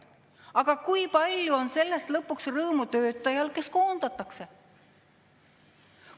Aga kui palju on sellest lõpuks rõõmu töötajal, kes koondatakse?